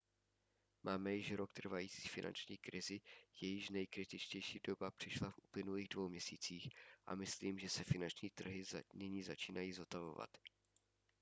máme již rok trvající finanční krizi jejíž nejkritičtější doba přišla v uplynulých dvou měsících a myslím si že se finanční trhy nyní začínají zotavovat